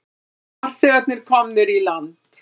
Farþegarnir komnir í land